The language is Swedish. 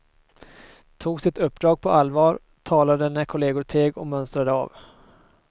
Tog sitt uppdrag på allvar, talade när kolleger teg och mönstrade av.